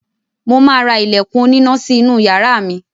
Mo ma ra ilẹ̀kùn oníná sí inú yàrá mi